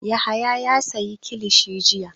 Yahaya ya sayi kilishi jiya.